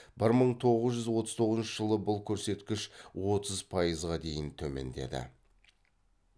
бір мың тоғыз жүз отыз тоғызыншы жылы бұл көрсеткіш отыз пайызға дейін төмендеді